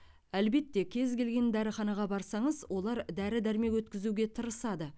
әлбетте кез келген дәріханаға барсаңыз олар дәрі дәрмек өткізуге тырысады